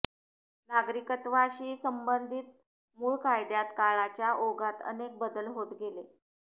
नागरिकत्वाशी संबंधिक मूळ कायद्यात काळाच्या ओघात अनेक बदल होत गेले